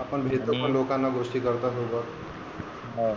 आपण भेटलो का लोकांना गोष्टी करतात लोकं हा